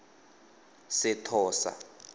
sethosa